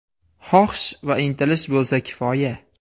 Xohish va intilish bo‘lsa kifoya.